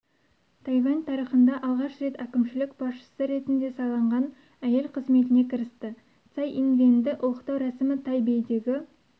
тайвань тарихында алғаш рет әкімшілік басшысы ретінде сайланған әйел қызметіне кірісті цай инвэньді ұлықтау рәсімі тайбэйдегі